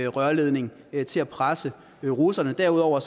rørledning til at presse russerne derudover